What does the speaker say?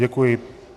Děkuji.